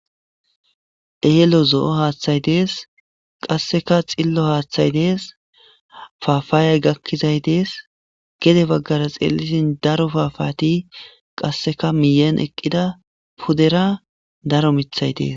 eelo zo7o haaththay dees qasseka xillo haaththay dees faafaayay gakkizay dees gede baggara xeelisin daro faafati qasseka miyeen eqqida pudera daro mithay dees